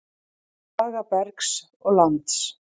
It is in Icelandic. Saga bergs og lands.